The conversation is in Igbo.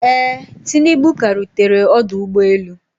Ee, tinubu ka rutere ọdụ ụgbọ elu